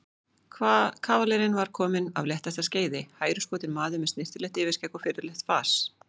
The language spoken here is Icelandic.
Kavalerinn var kominn af léttasta skeiði, hæruskotinn maður með snyrtilegt yfirskegg og virðulegt fas.